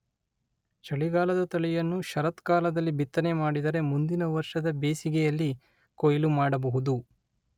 ಚಳಿಗಾಲದ ತಳಿಯನ್ನು ಶರತ್ಕಾಲದಲ್ಲಿ ಬಿತ್ತನೆ ಮಾಡಿದರೆ ಮುಂದಿನ ವರ್ಷದ ಬೇಸಗೆಯಲ್ಲಿ ಕೊಯಿಲು ಮಾಡಬಹುದು.